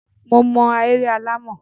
Mo ma ahéré alàmọ̀.